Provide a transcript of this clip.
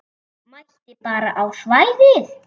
Mætti bara á svæðið.